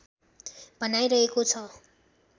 भनाई रहेको छ